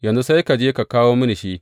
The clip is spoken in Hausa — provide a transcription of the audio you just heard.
Yanzu sai ka je ka kawo mini shi.